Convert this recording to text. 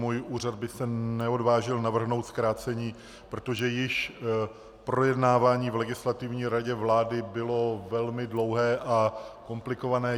Můj úřad by se neodvážil navrhnout zkrácení, protože již projednávání v Legislativní radě vlády bylo velmi dlouhé a komplikované.